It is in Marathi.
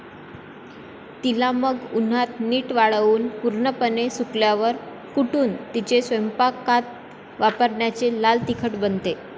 तिला मग उन्हात नीट वाळवून पूर्णपणे सुकल्यावर कुटून तिचे स्वयंपाकात वापरायाचे लाल तिखट बनते